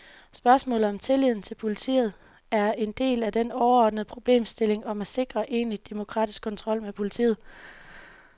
Spørgsmålet om tilliden til politiet er en del af den overordnede problemstilling om at sikre en egentlig demokratisk kontrol med politiet.